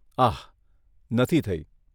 આહ, નથી થઈ.